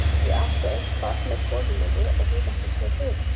Ég átti eitt barn með konu minni og hún átti tvö fyrir.